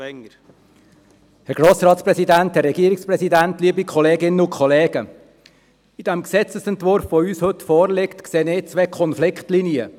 Im heute vorliegenden Gesetzesentwurf sehe ich zwei Konfliktlinien.